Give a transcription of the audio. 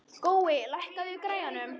Gói, lækkaðu í græjunum.